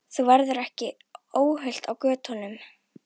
Þú verður ekki óhult á götunum.